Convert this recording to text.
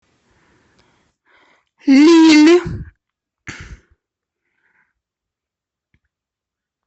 лилль